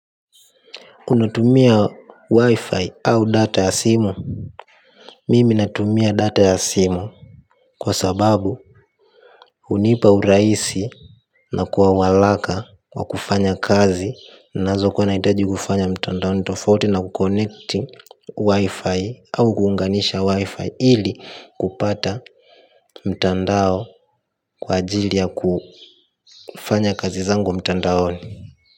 Unatumia wi-fi au data ya simu mimi natumia data ya simu kwa sababu unipa uraisi na kuawalaka wa kufanya kazi nazo kuwanaitaji kufanya mtandaoni tofauti na kukonecti wi-fi au kuunganisha wi-fi ili kupata mtandao kwa ajili ya kufanya kazi zangu mtandaoni.